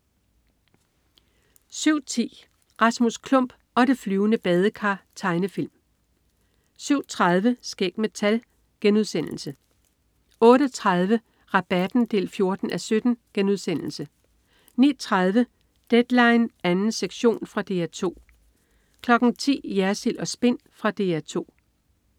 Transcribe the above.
07.10 Rasmus Klump og det flyvende badekar. Tegnefilm 07.30 Skæg med tal* 08.30 Rabatten 14:17* 09.30 Deadline 2. sektion. Fra DR 2 10.00 Jersild & Spin. Fra DR 2